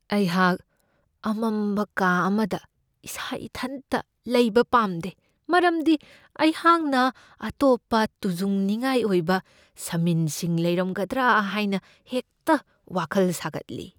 ꯑꯩꯍꯥꯛ ꯑꯃꯝꯕ ꯀꯥ ꯑꯃꯗ ꯏꯁꯥ ꯏꯊꯟꯇ ꯂꯩꯕ ꯄꯥꯝꯗꯦ, ꯃꯔꯝꯗꯤ ꯑꯩꯍꯥꯛꯅ ꯑꯇꯣꯞꯄ ꯇꯨꯖꯨꯡꯅꯤꯡꯉꯥꯏ ꯑꯣꯏꯕ ꯁꯃꯤꯟꯁꯤꯡ ꯂꯩꯔꯝꯒꯗ꯭ꯔꯥ ꯍꯥꯏꯅ ꯍꯦꯛꯇ ꯋꯥꯈꯜ ꯁꯥꯒꯠꯂꯤ ꯫